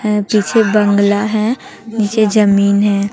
ऐ पीछे बंगला है नीचे जमीन है।